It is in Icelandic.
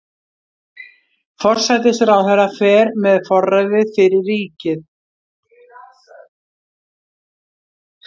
Forsætisráðherra fer með forræðið fyrir ríkið.